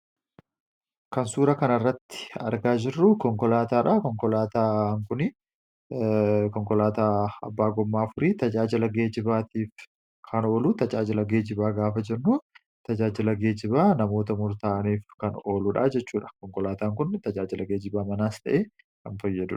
Kan suura kana irratti argaa jirru konkolaataadha. konkolaataan kun kan goommaa afur qabudha. Tajaajila geejibaatiif kan ooluu tajaajila geejjibaa gaafa jennu tajaajila geejjibaa namoota murtaa'aniif kan oluudhaa jechuudha. Konkolaataan kun tajaajila geejjibaa manaas ta'ee ni fayyadu.